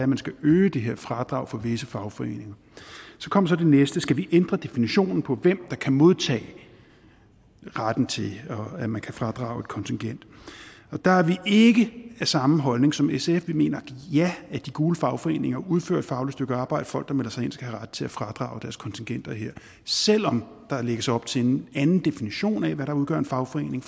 man skal øge det her fradrag for visse fagforeninger så kommer det næste skal vi ændre definitionen på hvem der kan modtage retten til at man kan fradrage et kontingent der er vi ikke af samme holdning som sf vi mener at ja de gule fagforeninger udfører et fagligt stykke arbejde folk der melder sig ind skal have ret til at fradrage deres kontingenter her selv om der lægges op til en anden definition af hvad der udgør en fagforening